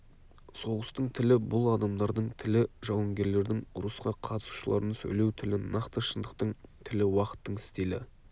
соғыстың тілі бұл адамдардың тілі жауынгерлердің ұрысқа қатысушылардың сөйлеу тілі нақты шындықтың тілі уақыттың стилі